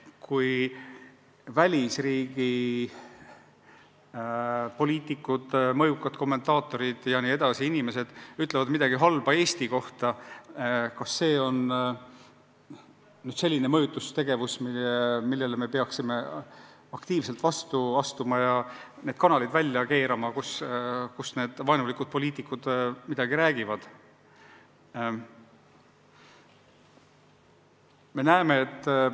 Kui välisriigi poliitikud, mõjukad kommentaatorid ja muud sellised inimesed ütlevad midagi halba Eesti kohta, kas see on selline mõjutustegevus, millele me peaksime aktiivselt vastu astuma ja need kanalid, kus need vaenulikud poliitikud midagi räägivad, kinni keerama?